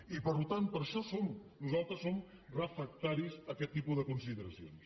i per tant per això nosaltres som refractaris a aquest tipus de consideracions